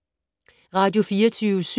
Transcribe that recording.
Radio24syv